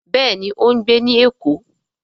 Béèni o ń gbé ní èkó.